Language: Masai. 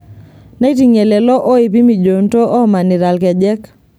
Neiting'ie lelo oipi mijoonto oomanita ilkejek.